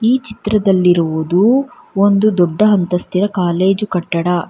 ಈ ಚಿತ್ರದಲ್ಲಿರುವುದು ಒಂದು ದೊಡ್ಡ ಅಂತಸ್ತಿನ ಕಾಲೇಜು ಕಟ್ಟಡ.